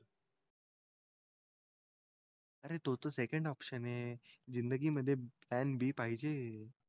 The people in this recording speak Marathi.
अरे तो second option हे जिंदगी मध्ये planB पाहिजे